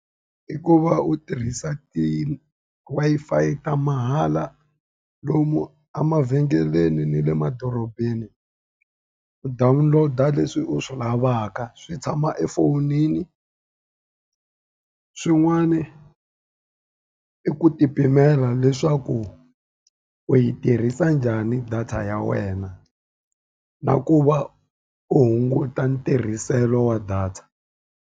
I ku va u tirhisa ti-Wi-Fi ta mahala lomu emavhengeleni ni le madorobeni, u download-a leswi u swi lavaka, swi tshama efowunini. Swin'wana i ku ti pimela leswaku u yi tirhisa njhani data ya wena, na ku va u hunguta ntirhiselo wa data.